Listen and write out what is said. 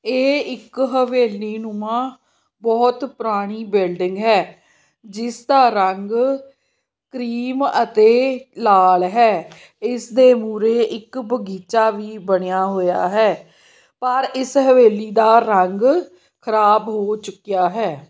ਏਹ ਇੱਕ ਹਵੇਲੀਨੁਮਾਂ ਬੋਹੁਤ ਪੁਰਾਨੀ ਬਿਲਡਿੰਗ ਹੈ ਜਿੱਸ ਦਾ ਰੰਗ ਕ੍ਰੀਮ ਅਤੇ ਲਾਲ ਹੈ ਇਸਦੇ ਮੂਰੇ ਇੱਕ ਬਗੀਚਾ ਵੀ ਬਨਿਆ ਹੋਇਆ ਹੈ ਪਰ ਇੱਸ ਹਵੇਲੀ ਦਾ ਰੰਗ ਖਰਾਬ ਹੋ ਚੁੱਕਿਆ ਹੈ।